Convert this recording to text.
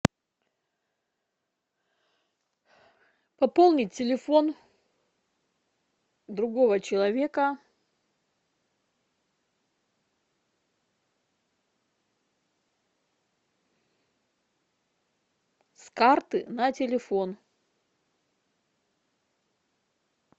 пополнить телефон другого человека с карты на телефон